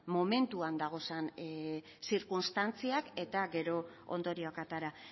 momentuan dauden zirkunstantziak eta gero ondorioak atera